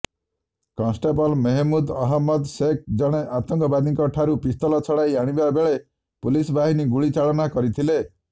constable Mehmood Ahmad Shaikh ଜଣେ ଆତଙ୍କବାଦୀଠାରୁ pistol ଛଡ଼ାଇ ଆଣିବା ବେଳେ ପୁଲିସ ବାହିନୀ ଗୁଳିଚାଳନା କରିଥିଲେ